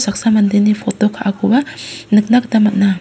saksa mandeni poto ka·akoba nikna gita man·a.